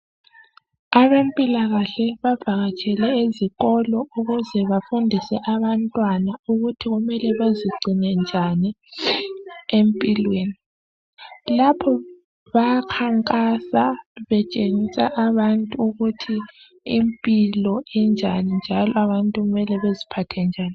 Abempilakahle bavakatshele ezikolo ukuze bafundise abantwana ukuthi kumele bazigcine njani empilweni, lapho bayakhankasa betshengisa abantu ukuthi impilo injani njalo abantu kumele beziphathe njani.